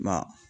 Nka